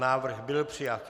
Návrh byl přijat.